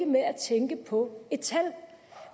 med at tænke på et tal